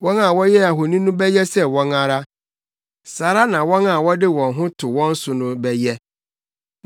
Wɔn a wɔyɛɛ ahoni no bɛyɛ sɛ wɔn ara, saa ara na wɔn a wɔde wɔn ho to wɔn so no bɛyɛ.